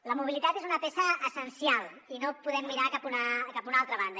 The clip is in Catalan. la mobilitat és una peça essencial i no podem mirar cap a una altra banda